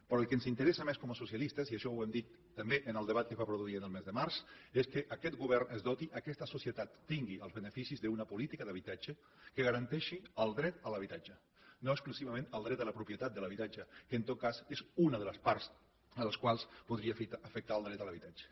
però el que ens interessa més com a socialistes i això ho hem dit també en el debat que es va produir el mes de març és que aquest govern es doti aquesta societat tingui els beneficis d’una política d’habitatge que garanteixi el dret a l’habitatge no exclusivament el dret a la propietat de l’habitatge que en tot cas és una de les parts que podria afectar el dret a l’habitatge